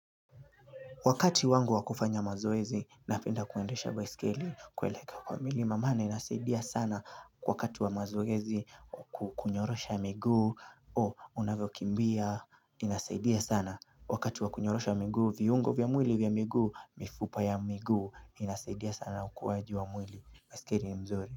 Wakati wangu wakufanya mazoezi napenda kuendesha baiskeli kueleka kwa milima mana inasaidia sana wakati wa mazoezi kunyorosha miguu o unavyokimbia inasaidia sana wakati wa kunyorosha miguu viungo vya mwili vya miguu mifupa ya miguu inasaidia sana ukuwaji wa mwili wa baiskeri ni mzuri.